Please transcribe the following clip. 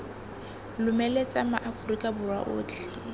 lomeletsa ma aforika borwa otlhe